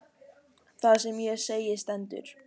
Það sem ég segi stendur.